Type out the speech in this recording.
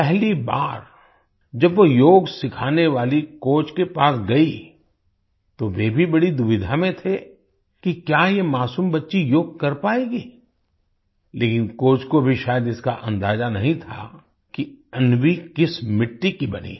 पहली बार जब वो योग सिखाने वाली कोच के पास गई तो वे भी बड़ी दुविधा में थे कि क्या ये मासूम बच्ची योग कर पायेगी लेकिन कोच को भी शायद इसका अंदाजा नहीं था कि अन्वी किस मिट्टी की बनी है